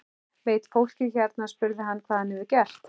Veit fólkið hér spurði hann, hvað hann hefur gert?